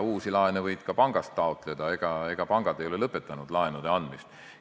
Uusi laene võib ka pangast taotleda, ega pangad ei ole lõpetanud laenude andmist.